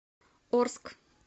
орск